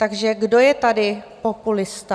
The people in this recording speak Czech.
Takže kdo je tady populista?